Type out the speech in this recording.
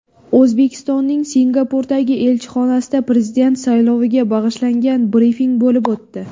O‘zbekistonning Singapurdagi elchixonasida Prezident sayloviga bag‘ishlangan brifing bo‘lib o‘tdi.